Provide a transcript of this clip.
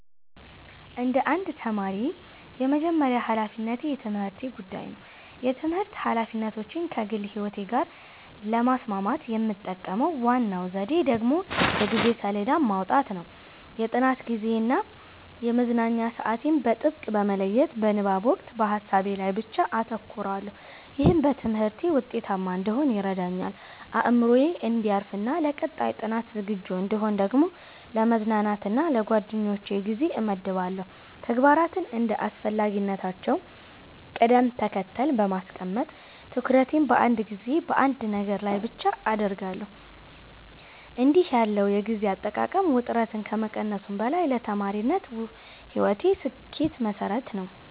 እንደ አንድ ተማሪ፣ የመጀመሪያው ሀላፊነቴ የትምህርቴ ጉዳይ ነው። የትምህርት ኃላፊነቶቼን ከግል ሕይወቴ ጋር ለማስማማት የምጠቀመው ዋናው ዘዴ ደግሞ የጊዜ ሰሌዳ ማውጣት ነው። የጥናት ጊዜዬን እና የመዝናኛ ሰዓቴን በጥብቅ በመለየት፣ በንባብ ወቅት በሀሳቤ ላይ ብቻ አተኩራለሁ። ይህም በትምህርቴ ውጤታማ እንድሆን ይረዳኛል። አእምሮዬ እንዲያርፍና ለቀጣይ ጥናት ዝግጁ እንድሆን ደግሞ ለመዝናናት እና ለጓደኞቼ ጊዜ እመድባለሁ። ተግባራትን እንደ አስፈላጊነታቸው ቅደም ተከተል በማስቀመጥ፣ ትኩረቴን በአንድ ጊዜ በአንድ ነገር ላይ ብቻ አደርጋለሁ። እንዲህ ያለው የጊዜ አጠቃቀም ውጥረትን ከመቀነሱም በላይ ለተማሪነት ሕይወቴ ስኬት መሠረት ነው።